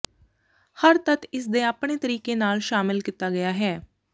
ਹਰ ਤੱਤ ਇਸ ਦੇ ਆਪਣੇ ਤਰੀਕੇ ਨਾਲ ਸ਼ਾਮਿਲ ਕੀਤਾ ਗਿਆ ਹੈ